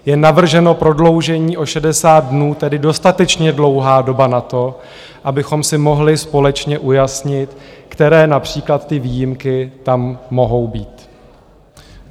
Je navrženo prodloužení o 60 dnů, tedy dostatečně dlouhá doba na to, abychom si mohli společně ujasnit, které například ty výjimky tam mohou být.